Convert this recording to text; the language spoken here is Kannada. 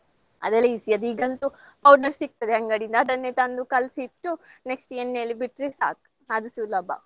ಅದೆಲ್ಲ easy ಅದು ಈಗಂತೂ powder ಸಿಗ್ತದೆ ಅಂಗಡಿಯಿಂದ ಅದನ್ನೆ ತಂದು ಕಲ್ಸಿಟ್ಟು next ಎಣ್ಣೆಯಲ್ಲಿ ಬಿಟ್ರೆ ಸಾಕು ಅದು ಸುಲಭ.